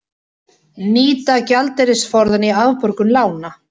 Nýta gjaldeyrisforðann í afborgun lána